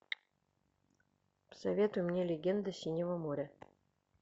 посоветуй мне легенды синего моря